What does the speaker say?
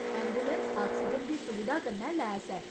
Ambulance oxygen दी सुविधा कन्नै लैस ऐ।